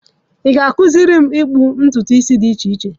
Ị ga-akụziri m ikpu ntutu isi dị iche, echi?